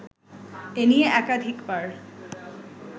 এ নিয়ে একাধিকবার